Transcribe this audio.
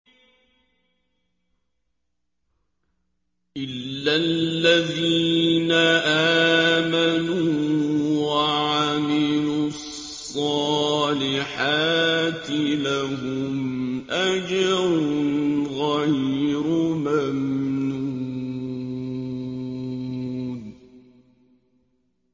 إِلَّا الَّذِينَ آمَنُوا وَعَمِلُوا الصَّالِحَاتِ لَهُمْ أَجْرٌ غَيْرُ مَمْنُونٍ